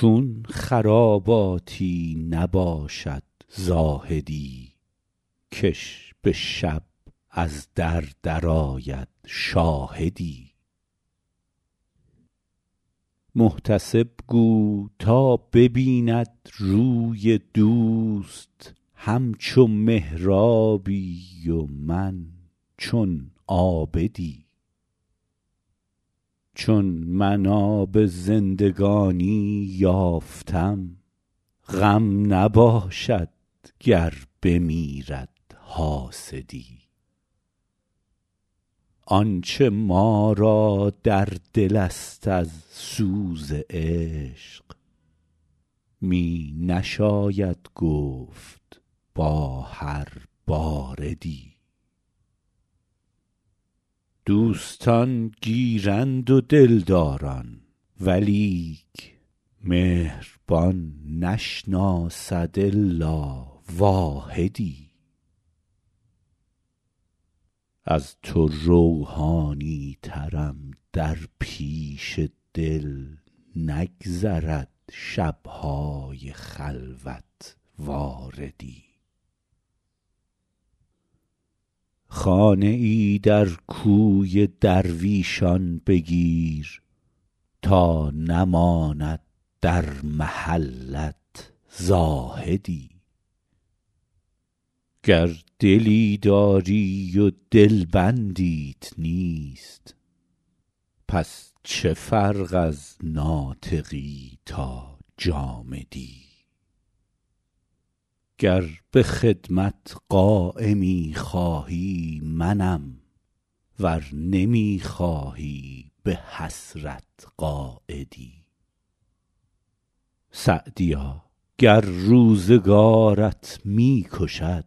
چون خراباتی نباشد زاهدی که ش به شب از در درآید شاهدی محتسب گو تا ببیند روی دوست همچو محرابی و من چون عابدی چون من آب زندگانی یافتم غم نباشد گر بمیرد حاسدی آنچه ما را در دل است از سوز عشق می نشاید گفت با هر باردی دوستان گیرند و دلداران ولیک مهربان نشناسد الا واحدی از تو روحانی ترم در پیش دل نگذرد شب های خلوت واردی خانه ای در کوی درویشان بگیر تا نماند در محلت زاهدی گر دلی داری و دلبندیت نیست پس چه فرق از ناطقی تا جامدی گر به خدمت قایمی خواهی منم ور نمی خواهی به حسرت قاعدی سعدیا گر روزگارت می کشد